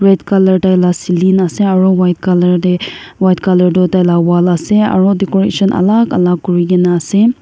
red colour tai laga celing ase aru white colour tae white colour toh taila wall ase aru decoration alak alak kurina ase.